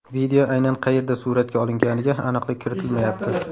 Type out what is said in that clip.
Video aynan qayerda suratga olinganiga aniqlik kiritilmayapti.